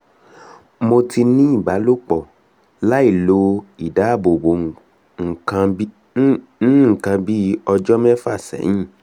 mo ti ní ìbálòpọ̀ lailo idáàbòbo nǹkan bí ọjọ́ mẹ́fà sẹ́yìn